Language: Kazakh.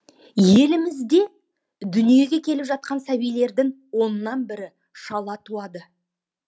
елімізде дүниеге келіп жатқан сәбилердің оннан бірі шала туады